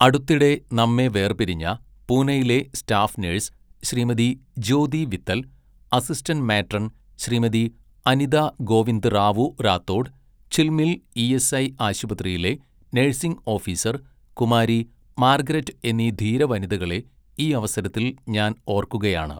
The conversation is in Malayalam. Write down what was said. അടുത്തിടെ നമ്മെ വേർപിരിഞ്ഞ പൂനെയിലെ staff nurse Shrimati Jyoti Vitthal, assistant matron Shrimati Anita Govind Rao Rathod, Jhilmil E S I ആശുപത്രിയിലെ നേഴ്സിങ് ഓഫീസർ കുമാരി മാർഗരറ്റ് എന്നീ ധീരവനിതകളെ ഈ അവസരത്തിൽ ഞാൻ ഓർക്കുകയാണ്.